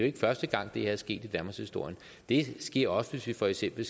ikke første gang det er sket i danmarkshistorien det sker ofte for eksempel